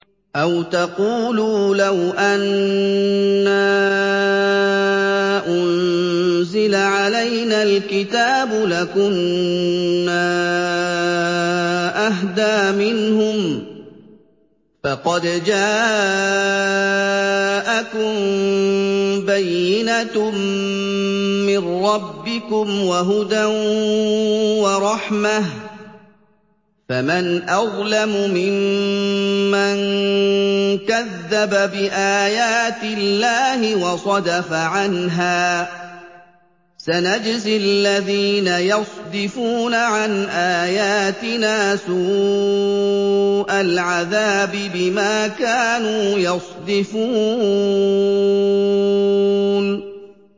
أَوْ تَقُولُوا لَوْ أَنَّا أُنزِلَ عَلَيْنَا الْكِتَابُ لَكُنَّا أَهْدَىٰ مِنْهُمْ ۚ فَقَدْ جَاءَكُم بَيِّنَةٌ مِّن رَّبِّكُمْ وَهُدًى وَرَحْمَةٌ ۚ فَمَنْ أَظْلَمُ مِمَّن كَذَّبَ بِآيَاتِ اللَّهِ وَصَدَفَ عَنْهَا ۗ سَنَجْزِي الَّذِينَ يَصْدِفُونَ عَنْ آيَاتِنَا سُوءَ الْعَذَابِ بِمَا كَانُوا يَصْدِفُونَ